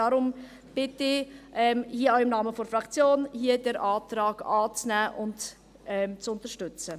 Deshalb bitte ich, auch im Namen der Fraktion, den Antrag anzunehmen und zu unterstützen.